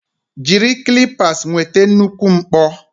Jiri clippers nweta nnukwu mkpọ.